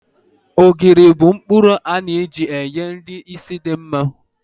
Ogiri bu nkpuru a na-eji enye nri ísì di mma